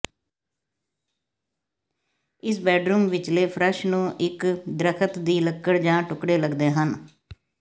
ਇਸ ਬੈਡਰੂਮ ਵਿਚਲੇ ਫ਼ਰਸ਼ ਨੂੰ ਇਕ ਦਰੱਖਤ ਦੀ ਲੱਕੜ ਜਾਂ ਟੁਕੜੇ ਲਗਦੇ ਹਨ